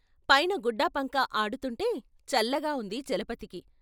పైన గుడ్డపంకా ఆడుతుంటే చల్లగా ఉంది చలపతికి.